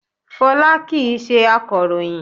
Fọlá kìí ṣe akọ̀ròyìn